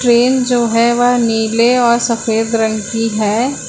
Train जो है वह नीले और सफेद रंग की है।